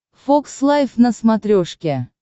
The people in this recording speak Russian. фокс лайф на смотрешке